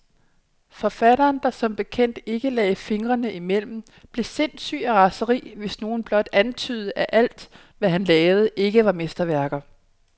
Forfatteren, der som bekendt ikke lagde fingrene imellem, blev sindssyg af raseri, hvis nogen blot antydede, at alt, hvad han lavede, ikke var mesterværker.